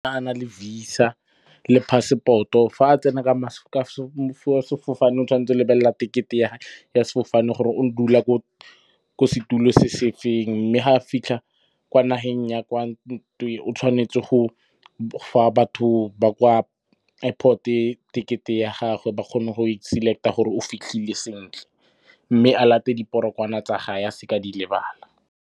Fa a na le VISA le passport-o, fa a tsena ka sefofane, o tshwanetse go lebelela tekete ya sefofane gore o dula ko setulo se se feng. Mme fa a fitlha kwa nageng ya kwa , o tshwanetse go fa batho ba kwa airport-e tekete ya gagwe ba kgone go e select-a gore o fitlhile sentle. Mme a late diporogwana tsa gage a seka di lebala.